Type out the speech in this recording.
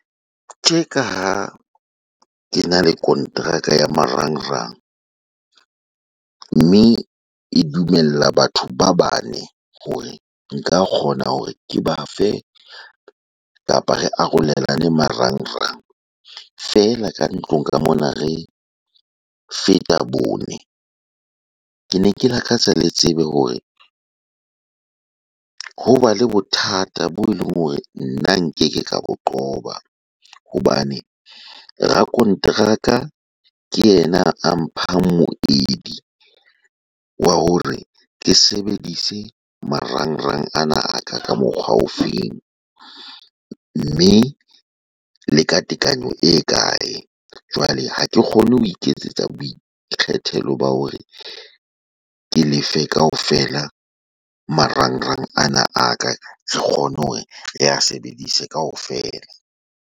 Tje ka ha ke na le kontraka ya marangrang. Mme e dumella batho ba bane. Hore nka kgona hore ke ba fe, kapa re arolelane marangrang. Feela ka ntlong ka mona re feta bone. Ke ne ke lakatsa le tsebe hore, ho ba le bothata bo e leng hore nna nkeke ka bo qoba. Hobane, rakonteraka ke yena a mphang moedi wa hore ke sebedise marangrang ana a ka ka mokgwa o feng. Mme le ka tekanyo e kae. Jwale ha ke kgone hone ho iketsetsa boikgethelo ba hore, ke lefe kaofela marangrang ana a ka. Re kgone hore re a sebedise kaofela.